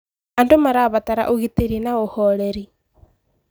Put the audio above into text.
Andũ marabatara ũgitĩri na ũhoreri.